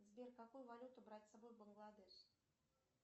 сбер какую валюту брать с собой в бангладеш